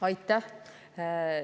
Aitäh!